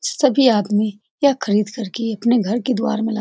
सभी आदमी यह खरीद करके अपने घर के द्वार मे लगा --